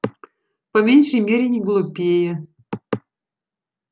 по меньшей мере не глупее